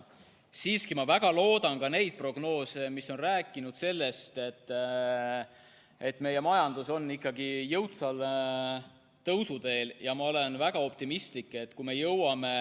Ma siiski väga loodan, et õiged on need prognoosid, mis on rääkinud sellest, et meie majandus on jõudsalt tõusuteel.